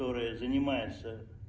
которая занимается